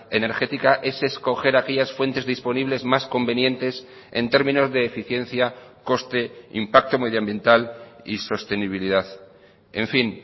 energética es escoger aquellas fuentes disponibles más convenientes en términos de eficiencia coste impacto medioambiental y sostenibilidad en fin